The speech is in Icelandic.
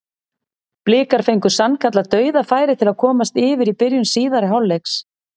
Blikar fengu sannkallað dauðafæri til að komast yfir í byrjun síðari hálfleiks.